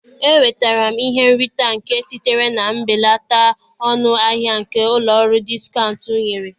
E nwetara m ihe nrita nke sitere na mbelata ọnụ ahịa nke ụlọ ọrụ diskaụnt nyere